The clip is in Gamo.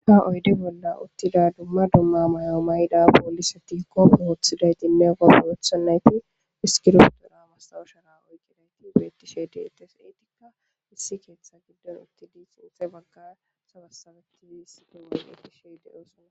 ha oyde bolla uttida dumma dumma mayo may7da boolisa ti koppo wooththiday dinme gopborothonnayti hiskirotu ura mastawushera oykqidayti bettishede etes eetikka issi keeththa giddon utti di xinxe bagga sabasabetiiis dumma geti sheede oosona